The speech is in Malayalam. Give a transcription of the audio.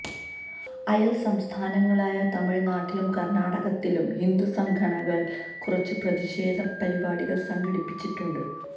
അയല് സംസ്ഥാനങ്ങളായ തമിഴ്നാട്ടിലും കര്ണാടകത്തിലും ഹിന്ദുസംഘടനകള് കുറച്ച് പ്രതിഷേധം പരിപാടികള് സംഘടിപ്പിച്ചിട്ടുണ്ട്